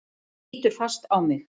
Hún lítur fast á mig.